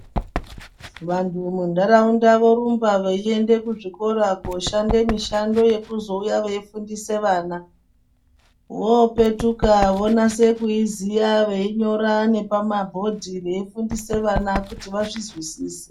Vantu mundaraunda vorumbe vaienda kuzvikora koshande mishando yekuzouya vaifundise vana ,vopetuka vonase kuiziya vainyora nepamabhodhi vaifundise vana kuti vazvizwisise.